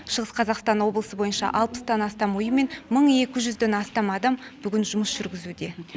шығыс қазақстан облысы бойынша алпыстан астам ұйым мен мың екі жүзден астам адам бүгін жұмыс жүргізуде